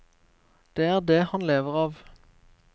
Det er det han lever av.